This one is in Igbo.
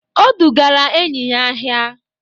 O dugara enyi ya ahịa.